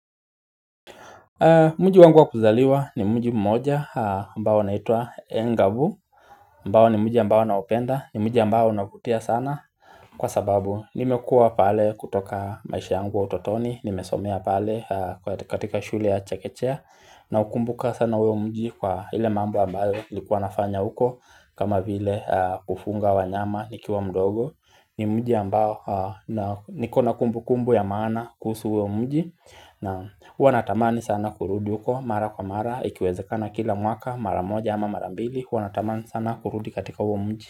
Mji wangu wa kuzaliwa ni mji mmoja mbao unaitwa Engavu ambao ni mji ambao naupenda ni mji ambao unavutia sana Kwa sababu nimekua pale kutoka maisha yangu ya utotoni Nimesomea pale katika shule ya chekechea na ukumbuka sana huyo mji kwa ile mambo ambao likuwa nafanya uko kama vile kufunga wanyama nikiwa mdogo ni mji ambao nikona kumbu kumbu ya maana kuhusu huyo mji na huwa natamani sana kurudi yuko mara kwa mara Ikiwezekana kila mwaka mara moja ama mara mbili huwa natamani sana kurudi katika huo mji.